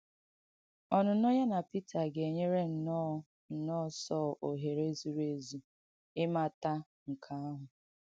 Ọ̀nụ́nọ̀ ya na Pītà ga-ènyē nnọ́ọ̀ nnọ́ọ̀ Sọl òhèrē zuru èzū īmàtà nke àhụ̀.